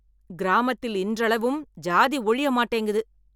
கிராமத்தில் இன்றளவும் ஜாதி ஒழிய மாட்டேங்கிது.